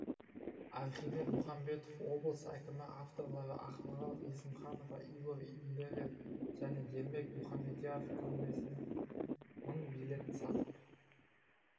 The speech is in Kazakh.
архимед мұхамбетов облыс әкімі авторлары ақмарал есімханова игорь нидерер және ермек мұхамедьяров көрмесіне мың билет сатып